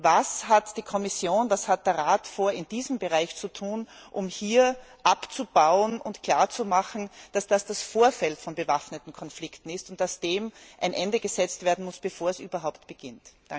Was werden Kommission und Rat in diesem Bereich tun, um hier abzubauen und klarzumachen, dass dies das Vorfeld von bewaffneten Konflikten ist und dass dem ein Ende gesetzt werden muss, bevor es überhaupt beginnt.